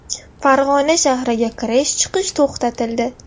Farg‘ona shahriga kirish-chiqish to‘xtatildi.